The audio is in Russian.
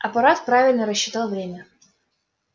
апорат правильно рассчитал время